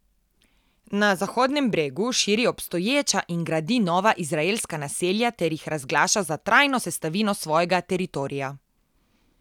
Na Zahodnem bregu širi obstoječa in gradi nova izraelska naselja ter jih razglaša za trajno sestavino svojega teritorija.